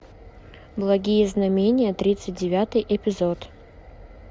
благие знамения тридцать девятый эпизод